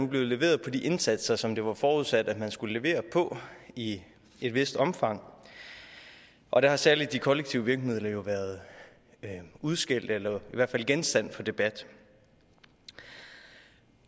blevet leveret på de indsatser som det var forudsat at man skulle levere på i et vist omfang og der har særlig de kollektive virkemidler været udskældt eller i hvert fald genstand for debat